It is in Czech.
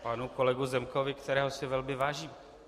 Panu kolegovi Zemkovi, kterého si velmi vážím.